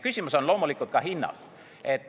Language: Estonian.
Küsimus on loomulikult ka hinnas.